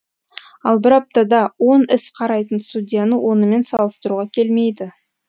ал бір аптада он іс қарайтын судьяны онымен салыстыруға келмейді